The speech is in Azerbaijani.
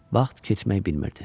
Vaxt keçmək bilmirdi.